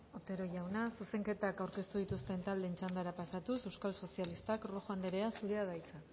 otero jauna zuzenketak aurkeztu dituzten taldeen txandara pasatuz euskal sozialistak rojo anderea zurea da hitza